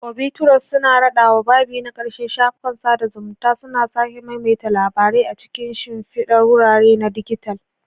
Obituaries suna raɗawa babi na ƙarshe, shafukan sada zumunta suna sake maimaita labarai a cikin shimfidar wurare na dijital.